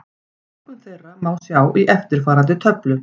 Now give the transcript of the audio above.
Flokkun þeirra má sjá í eftirfarandi töflu: